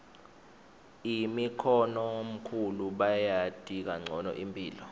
bokhokhomkhulu bayati kancono imphilo